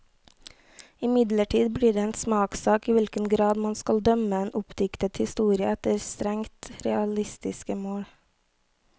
Imidlertid blir det en smakssak i hvilken grad man skal dømme en oppdiktet historie efter strengt realistiske mål.